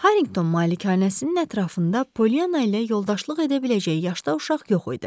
Harington malikanəsinin ətrafında Polyana ilə yoldaşlıq edə biləcəyi yaşda uşaq yox idi.